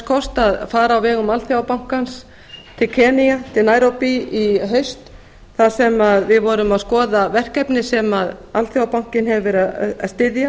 kost að fara á vegum alþjóðabankans til nairobi í enga í haust þar sem við vorum að skoða verkefni sem alþjóðabankinn hefur verið að styðja